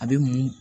A bɛ mun